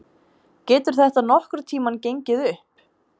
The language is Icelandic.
Getur þetta nokkurn tímann gengið upp?